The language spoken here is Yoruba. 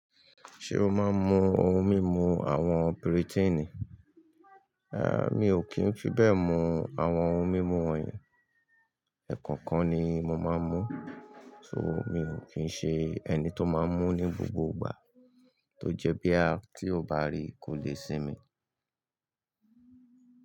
Ṣé o máa ń mu oun mímu àwọn piritíìnì? Mi ò kí ń fi bẹ́ẹ̀ mu àwọn oun mímu wọ̀nyí. Ẹ̀ẹ̀kan kan ni mo máa ń mú, so mi ò kí ń ṣe ẹni tó máa ń mú ní gbogbo ìgbà. Tó jẹ́ bí à tí o bá rí kò lè sinmi.